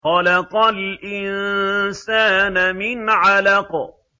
خَلَقَ الْإِنسَانَ مِنْ عَلَقٍ